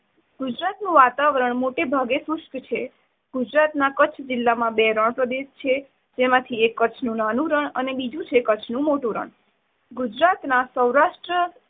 ગુજરાતનું વાતાવરણ મોટે ભાગે શુષ્ક છે. ગુજરાત ના કચ્છ જિલ્લામાં બે રણ પ્રદેશ આવેલા છે, જેમાંથી એક કચ્છનું નાનું રણ અને બીજું છે કચ્છનું મોટું રણ. ગુજરાતના સૌરાષ્ટ્ર